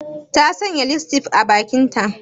Ta sanya lipstick a bakinta?